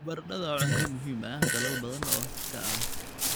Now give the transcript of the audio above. Baradhada waa cunto muhiim ah dalal badan oo Afrika ah.